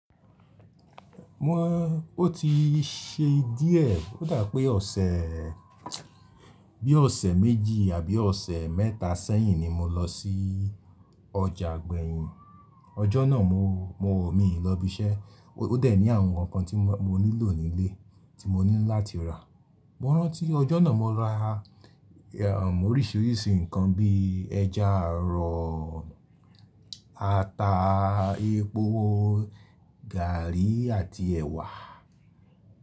Mo ti ṣe díẹ̀ ó dà bi pé ọ̀sẹ̀ bí ọ̀sẹ̀ méjì àbí ọ̀sẹ̀ mẹ́ta sẹ́yìn ni mo lọ sí ọjà ìgbẹ̀yìn. Ọjọ́ náà mo, mo ò míì lọ ibi iṣẹ́. Ó dẹ̀ ní àwọn nǹkan tí mo nílò nílé tí mo ní láti rà. Mo rántí ọjọ́ náà mo ra oríṣìíríṣìí nǹkan bí ẹja àrọ̀, ata, epo, gààrí àti ẹ̀wà.